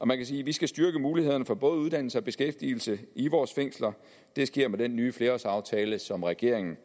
man kan sige at vi skal styrke mulighederne for både uddannelse og beskæftigelse i vores fængsler der sker med den nye flerårsaftale som regeringen